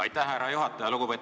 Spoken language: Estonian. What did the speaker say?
Aitäh, härra juhataja!